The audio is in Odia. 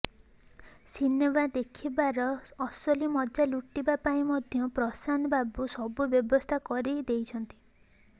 ସିନେମା ଦେଖିବାର ଅସଲି ମଜା ଲୁଟିବା ପାଇଁ ମଧ୍ୟ ପ୍ରଶାନ୍ତ ବାବୁ ସବୁ ବ୍ୟବସ୍ଥା କରି ଦେଇଛନ୍ତି